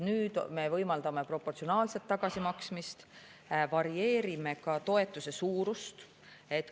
Nüüd me võimaldame proportsionaalset tagasimaksmist, varieerime ka toetuse suurust.